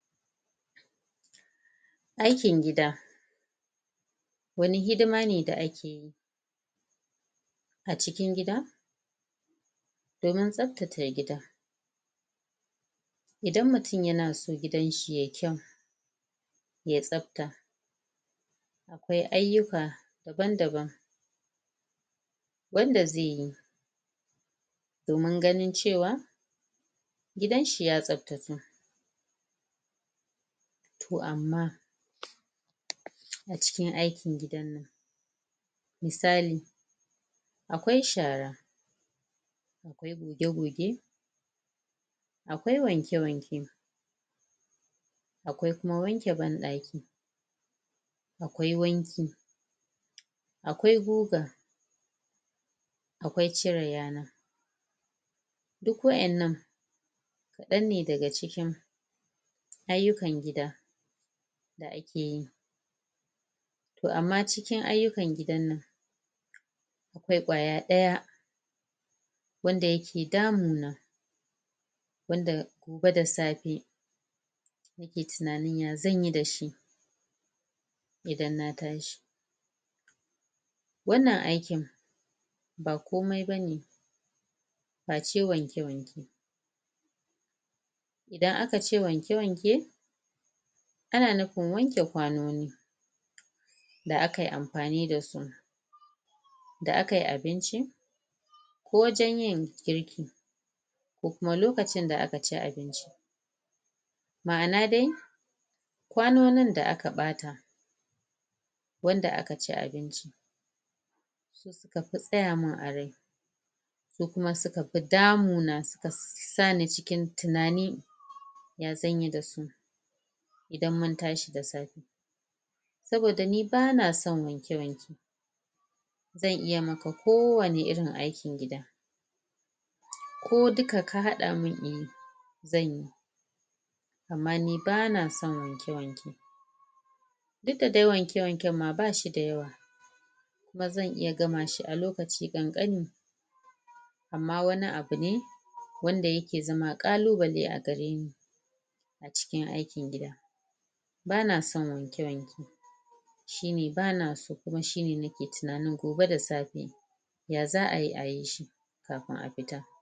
Aikin gida wani hidima ne da ake yi a cikin gida domin tsaftace gida idan mutum yana so gidanshi yayi kyau yayi tsafta akwai ayyuka daban daban wanda zai yi domin ganin cewa gidan shi ya tasftatu to amma a cikin aikin gidan nan misali akwkai shara akwai goge-goge akwai wanke-wanke akwai kuma awnke ban ɗaki akwai wanki akwai guga akwai cire yana duk wa'innan kaɗan ne daga cikin ayyukan gida da ake yi to amma cikin ayyukan gidan nan akwai ƙwaya ɗaya wanda yake damuna wanda gobe da safe nake tunanin ya zanyi da shi idan na tashi wannan aikin ba komai bane face wanke-wanke idan aka ce wanke-wanke ana nufin wanke kwanoni da aka yi amfani da su da aka yi abinci ko wajen yin girki ko kuma lokacin da aka ci abinci ma'ana dai kwanonin da aka ɓata wanda aka ci abinci suka fi tsaya min a rai suka suka fi damu na suka sa ni cikin tunani ya zanyi da su idan mun tashi da safe saboda ni bana son wanke-wanke zan iya maka so wani irin aikin gida ko duka ka haɗa min in yi zanyi amma ni ban son wanke-wanke duk dai wanke-wanken ma bashi da yawa kuma zan iya gama shi a lokaci ƙanƙani amma wani abu ne wanda yakea zama ƙalubale a gare ni a cikin aikin gida baya son wanke-wanke shine bana so kuma shine nake tunanin gobe da safe ya za ayi ayi shi kafin a fita.